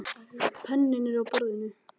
Penninn er á borðinu.